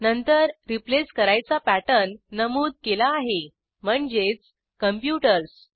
नंतर रिप्लेस करायचा पॅटर्न नमूद केला आहे म्हणजेच कॉम्प्युटर्स